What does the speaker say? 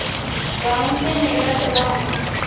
गांव से मेला चला